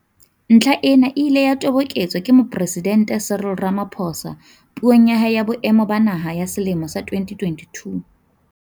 Ntlha ena e ile ya toboketswa ke Mopresidente Cyril Rama phosa Puong ya hae ya Boemo ba Naha ya selemo sa 2022.